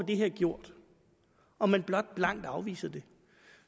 det her gjort og man blot blankt afviser det